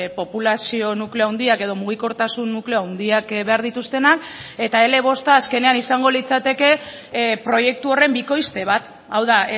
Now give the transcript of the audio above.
populazio nukleo handiak edo mugikortasun nukleo handiak behar dituztenak eta ele bosta azkenean izango litzateke proiektu horren bikoizte bat hau da